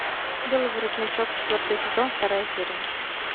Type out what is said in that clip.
белый воротничок четвертый сезон вторая серия